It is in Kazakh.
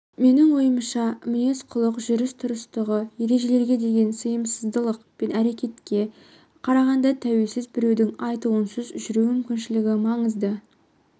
менің ойымша мінез-құлық жүріс-тұрыстағы ережелерге деген сыйласымдылық пен әдепке қарағанда тәуелсіз біреудің айтуынсыз жүру мүмкіншілігі маңызды